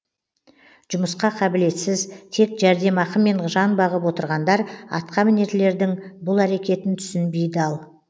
жұмысқа қабілетсіз тек жәрдемақымен жан бағып отырғандар атқа мінерлердің бұл әрекетін түсінбей дал